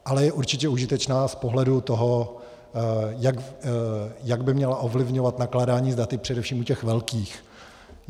Ale je určitě užitečné z pohledu toho, jak by mělo ovlivňovat nakládání s daty především u těch velkých.